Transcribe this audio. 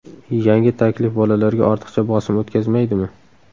Yangi taklif bolalarga ortiqcha bosim o‘tkazmaydimi?